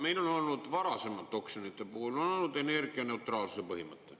Meil on olnud varasemalt oksjonite puhul energianeutraalsuse põhimõte.